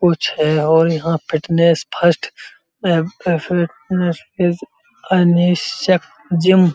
कुछ है और यहाँ फिटनेस फर्स्ट जिम --